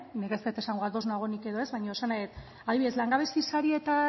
nik ez dut esango ados nagoenik edo ez baino esan nahi dut adibidez langabezia saria eta